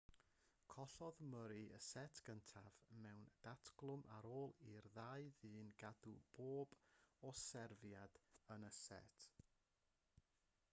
collodd murray y set gyntaf mewn datglwm ar ôl i'r ddau ddyn gadw pob un serfiad yn y set